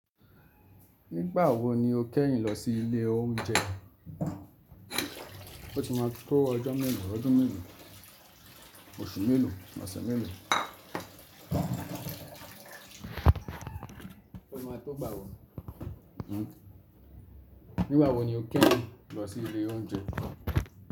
Nígbà wo ni o kẹ́yìn lọ sí ilé oúnjẹ? O ti ma tó ọjọ́ mélòó, ọdún mélòó, oṣù mélòó, ọ̀sẹ̀ mélòó? O ti ma tó gbà wò. Nígbà wo ni o kẹ́yìn lọ sí ilé oúnjẹ?